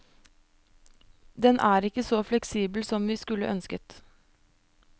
Den er ikke så fleksibel som vi skulle ønsket.